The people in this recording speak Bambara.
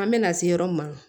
An bɛna se yɔrɔ min ma